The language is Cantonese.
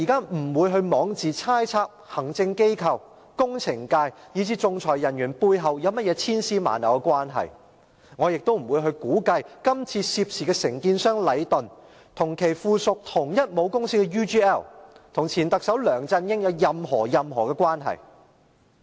我不會枉自猜測行政機關、工程界，以至仲裁人員背後有甚麼千絲萬縷的關係，我亦不會估計這次涉事的承建商禮頓建築有限公司連同與其屬同一母公司的 UGL 和前特首梁振英有任何關係。